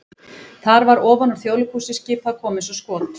það var ofan úr Þjóðleikhúsi skipað að koma eins og skot!